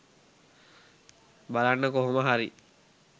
බලන්න කොහොමහරි